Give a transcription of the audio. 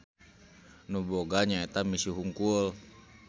Nu boga nyaeta misi hungkul.